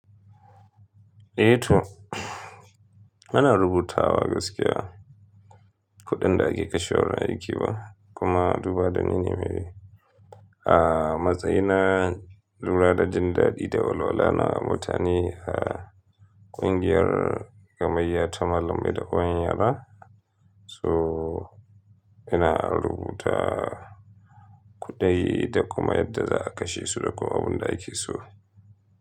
Eh to, ana rubutawa gaskiya kuɗin da ake kashen ra'ikewa kuma duba da nene mai. A matsayina lura ɗaɗin daɗi da olola na mutane a ƙungiyar gamayya ta malam Ida Oyan Yara, so ina rubuta kuɗai da kuma yadda za a kashe su da kuma abun da ake so.